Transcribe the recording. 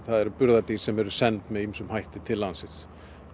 eru burðardýr sem eru send með ýmsum hætti til landsins